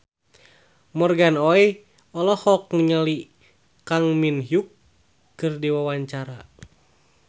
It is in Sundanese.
Morgan Oey olohok ningali Kang Min Hyuk keur diwawancara